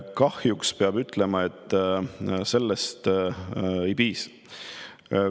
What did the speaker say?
Kahjuks peab ütlema, et sellest ei piisa.